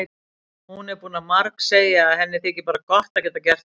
Hún er búin að margsegja að henni þyki bara gott að geta gert gagn.